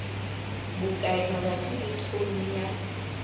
bokae mabapi le tone ya